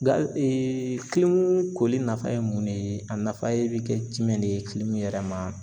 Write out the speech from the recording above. koli nafa ye mun de ye , a nafa bi kɛ jumɛn de ye yɛrɛ ma.